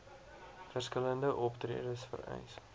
verskillende optredes vereis